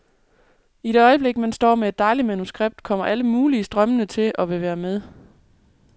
I det øjeblik man står med et dejligt manuskript, kommer alle mulige strømmende til og vil være med.